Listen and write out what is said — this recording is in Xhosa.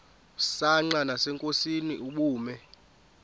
msanqa nasenkosini ubume